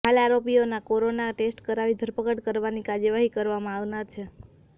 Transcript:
હાલ આરોપીઓના corona test કરાવી ધરપકડ કરવાની કાર્યવાહી કરવામાં આવનાર છે